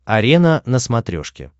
арена на смотрешке